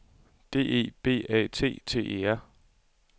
D E B A T T E R